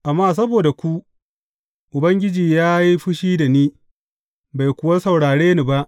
Amma saboda ku, Ubangiji ya yi fushi da ni, bai kuwa saurare ni ba.